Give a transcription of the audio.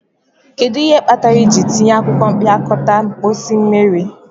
Kedu ihe kpatara ị ji tiye akwụkwọ mpịakọta mposi mmiri?